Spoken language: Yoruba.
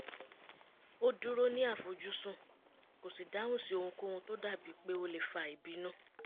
ó dúró ní àfojúsùn kò sì dáhùn sí ohunkóhun tó dàbí pé ó lè fa ìbínú